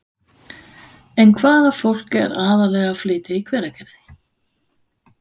En hvaða fólk er aðallega að flytja í Hveragerði?